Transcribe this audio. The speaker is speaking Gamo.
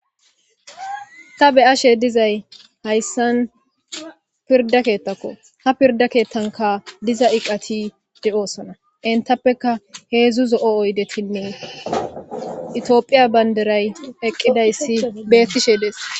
Ta be'ishe dizay haysan pirda keethako, ha pirda kethay , pirda kethanka diza eqati de'osona, hedzdzu zo'o oydetinne itophiya bandiray eqidaysi betes,